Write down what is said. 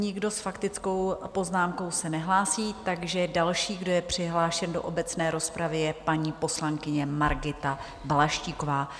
Nikdo s faktickou poznámkou se nehlásí, takže další, kdo je přihlášen do obecné rozpravy, je paní poslankyně Margita Balaštíková.